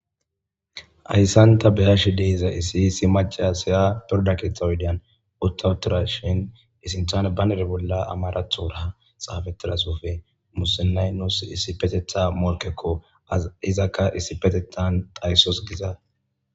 ayssanta beyashe deiza iisiisi maca siya pirda keetha wudian uttawutura shin isinthane banere bolla amarathoorha xaafetilasofe musinaynos issipetetha morkekko a izakka issipetetan dayssos giza